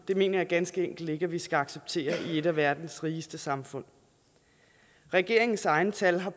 det mener jeg ganske enkelt ikke vi skal acceptere i et af verdens rigeste samfund regeringens egne tal har